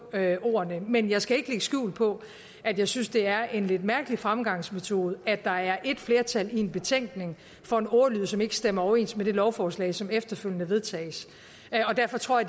ordene men jeg skal ikke skjul på at jeg synes det er en lidt mærkelig fremgangsmetode at der er et flertal i en betænkning for en ordlyd som ikke stemmer overens med det lovforslag som efterfølgende vedtages derfor tror